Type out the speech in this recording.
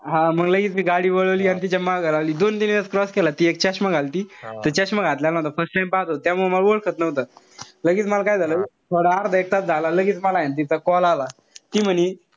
हा मंग लगेच मी गाडी वळवली. अन तिच्या मागं लावली. दोन-तीन वेळेस cross केला. ती एक चष्मा घालती. - त चष्मा घातल्यानंतर first time पाहत होतो. त्यामुळं म वळखत नव्हतो. लगेच मल काय झालं. थोडं अर्धा एक तास झाला लगेच मला ए ना तिचा call आला. ती म्हणे,